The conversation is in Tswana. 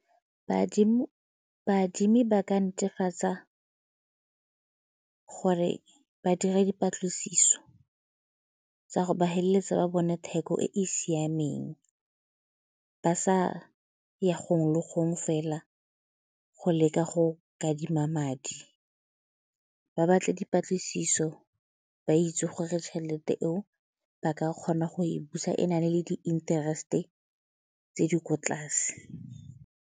Baadimi ba ka netefatsa gore ba dira dipatlisiso tsa go ba feleletsa ba bone theko e e siameng ba sa ya gongwe le gongwe fela go leka go kadima madi, ba batle dipatlisiso ba itse gore tšhelete eo ba ka kgona go e busa e na le le di-interest-e tse di kwa tlase.